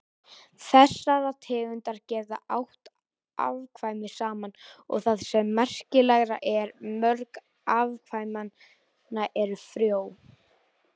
Þessar tegundir geta átt afkvæmi saman og það sem merkilegra er, mörg afkvæmanna eru frjó.